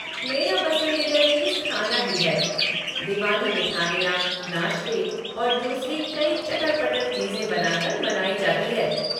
मेरी पसंदीदा चीज़ खाना ही है। दिवाली मिठाइयाँ, नाश्ते और दूसरी कई चटर पटर चीज़ें बनाकर मनाई जाती है।